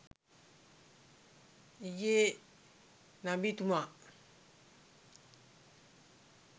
ඊයේ නබි තුමා